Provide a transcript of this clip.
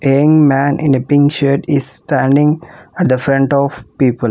A young man in the pink shirt is standing at the front of people.